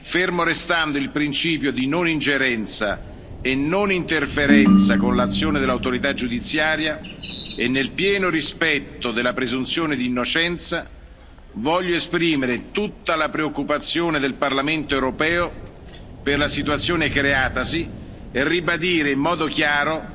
Fermo restando il principio di non ingerenza e non interferenza con l'azione dell'autorità giudiziaria, e nel pieno rispetto della presunzione di innocenza, voglio esprimere tutta la preoccupazione del Parlamento europeo per la situazione creatasi e ribadire in modo chiaro